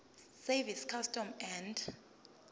service customs and